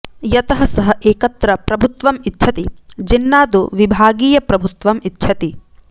यतः सः एकत्र प्रभुत्वम् इच्छति जिन्ना तु विभागीयप्रभुत्वम् इच्छति